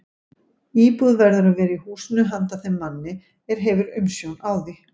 Íbúð verður að vera í húsinu handa þeim manni, er hefur umsjón á því.